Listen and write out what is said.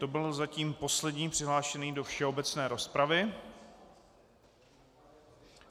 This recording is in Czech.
To byl zatím poslední přihlášený do všeobecné rozpravy.